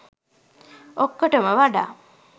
ඔක්කොටම වඩා